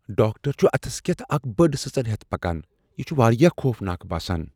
Doctor چُھ اتھس كیتھ اکھ بٔڈ سٕژن ہیتھ پكان ۔ یِہ چُھ واریاہ خوفناک باسان۔